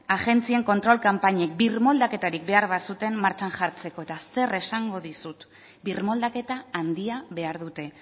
agentzien kontrol kanpainek birmoldaketarik behar bazuten martxan jartzeko eta zer esango dizut birmoldaketa handia behar dute